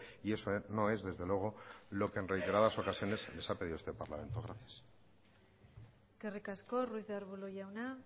y eso no es desde luego lo que en reiteradas ocasiones les ha pedido este parlamento gracias eskerrik asko ruiz de arbulo jauna